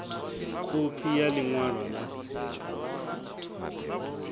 khophi ya ḽi ṅwalo ḽa